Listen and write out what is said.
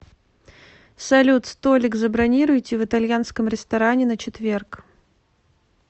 салют столик забронируйте в итальянском ресторане на четверг